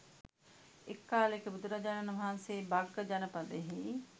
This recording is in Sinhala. එක් කාලයක බුදුරජාණන් වහන්සේ භග්ග ජනපදයෙහි